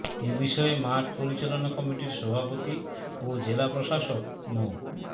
এ বিষয়ে মাঠ পরিচালনা কমিটির সভাপতি ও জেলা প্রশাসক মো